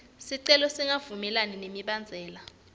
sicelo singavumelani nemibandzela